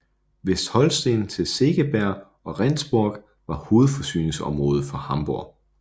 Vestholsten til Segeberg og Rendsborg var hovedforsyningsområde for Hamborg